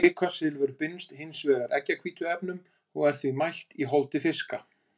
kvikasilfur binst hins vegar eggjahvítuefnum og er því mælt í holdi fiska